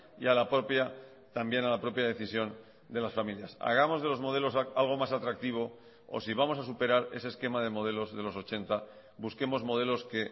y a la propia también a la propia decisión de las familias hagamos de los modelos algo más atractivo o si vamos a superar ese esquema de modelos de los ochenta busquemos modelos que